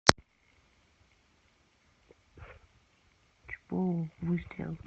чпоу выстрел